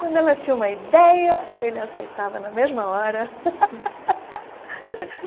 Quando ela tinha uma ideia, ele aceitava na mesma hora.